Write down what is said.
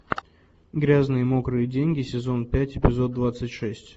грязные мокрые деньги сезон пять эпизод двадцать шесть